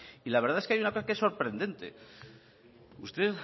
y la verdad es que hay una cosa que es sorprendente ustedes